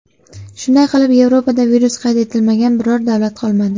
Shunday qilib, Yevropada virus qayd etilmagan biror davlat qolmadi.